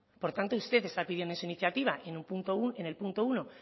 por tanto usted está pidiendo en su iniciativa en el punto uno